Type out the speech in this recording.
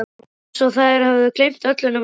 Það var eins og þær hefðu gleymt öllu nema Tóta.